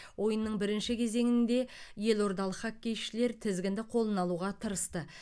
ойынның бірінші кезеңінде елордалық хоккейшілер тізгінді қолына алуға тырысты